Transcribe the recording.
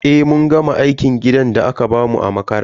Eh, mun gama aikin gidan da aka bamu a makaranta.